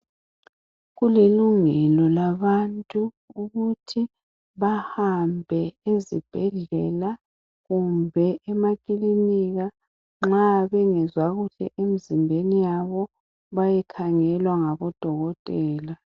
kulilungelo labantu ukuthi bahambe ezibhedlela kumbe ema kilinika nxa bengezwa kuhle emzimbeni yabo ukuthi bayekhangelwa ngo dokotela